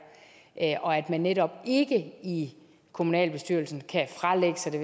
her og at man netop ikke i kommunalbestyrelsen kan fralægge sig det